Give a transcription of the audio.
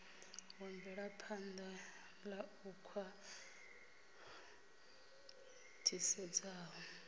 wa mvelaphan ḓa u khwaṱhisedzaho